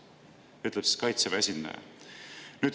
Nii ütles Kaitseväe esindaja.